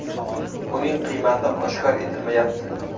Uning qiymati oshkor etilmayapti.